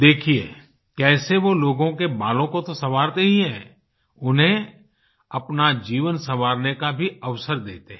देखिये कैसे वो लोगों के बालों को तो संवारते ही हैं उन्हें अपना जीवन संवारने का भी अवसर देते हैं